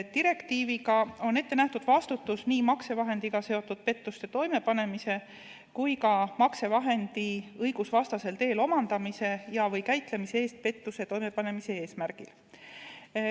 Direktiiviga on ette nähtud vastutus nii maksevahendiga seotud pettuste toimepanemise kui ka maksevahendi õigusvastasel teel omandamise ja/või käitlemise eest pettuse toimepanemise eesmärgil.